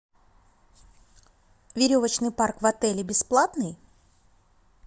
веревочный парк в отеле бесплатный